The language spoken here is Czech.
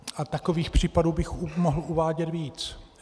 A takových příkladů bych mohl uvádět víc.